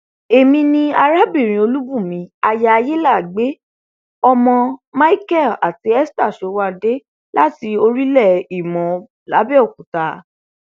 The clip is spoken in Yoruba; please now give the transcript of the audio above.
èmi ni arábìnrin olùbùnmi aya ayalàágbẹ ọmọ micheal àti esther sowande láti orílẹ ìmọ làbẹòkúta